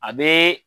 A bɛ